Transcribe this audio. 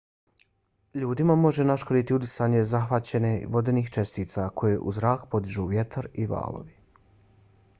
ljudima može naškoditi udisanje zahvaćenih vodenih čestica koje u zrak podižu vjetar i valovi